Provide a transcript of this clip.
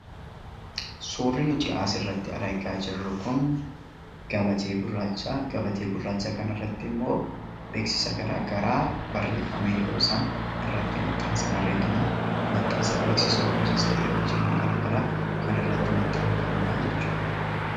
Suurri asirratti argaa jirru kun gabateen gurraacha. Gabatee gurraacha kana irratti immoo beeksisni garagaraa barreeffamee yoo jiru argina